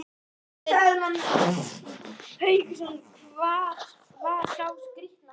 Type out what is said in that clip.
Hafsteinn Hauksson: Hvar var sá skrítnasti?